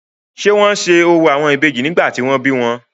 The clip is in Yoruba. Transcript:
ṣé wọ́n se orò àwọn Ìbejì nígbà tí wọ́n bí wọn?